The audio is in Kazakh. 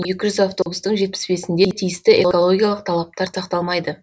екі жүз автобустың жетпіс бесінде тиісті экологиялық талаптар сақталмайды